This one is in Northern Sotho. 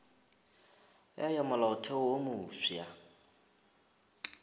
ya ya molaotheo wo mofsa